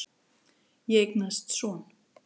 Ég eignaðist son.